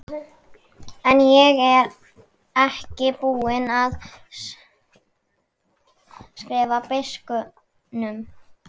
En ég er ekki búinn að skrifa biskupnum.